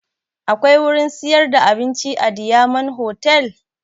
Akwai wurin siyar da abinci a diyamond hotal?